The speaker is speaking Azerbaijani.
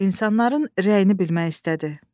İnsanların rəyini bilmək istədi.